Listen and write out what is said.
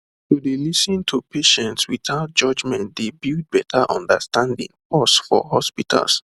to dey lis ten to patients without judgement dey build better understanding pause for hospitals